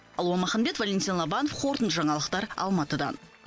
алуа маханбет валентин лобанов қорытынды жаңалықтар алматыдан